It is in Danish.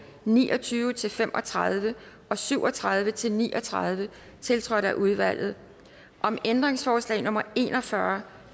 ni og tyve til fem og tredive og syv og tredive til ni og tredive tiltrådt af udvalget om ændringsforslag nummer en og fyrre